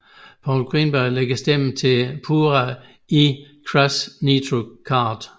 Paul Greenberg lægger stemme til Pura i Crash Nitro Kart